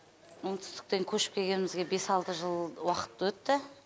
оңтүстіктен көшіп келгенімізге бес алты жыл уақыт өтті